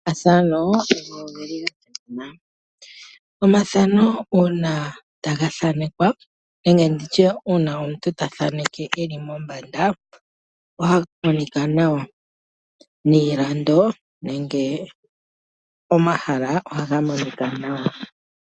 Omafano ogeli gasimana. Omafano uuna taga thanekwa nenge uuna omuntu tathaneke eli mombanda, ohaga monika nawa , niilando nenge omahala ohaga monika nawa.